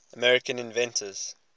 american inventors